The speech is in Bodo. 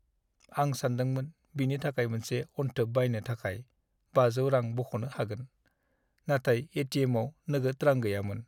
आं सानदोंमोन बिनि थाखाय मोनसे अनथोब बायनो थाखाय 500 रां बख'नो हागोन, नाथाय ए.टि.एम.आव नोगोद रां गैयामोन।